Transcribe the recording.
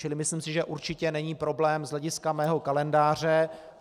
Čili myslím si, že určitě není problém z hlediska mého kalendáře.